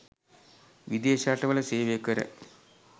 විදේශ රටවල සේවය කර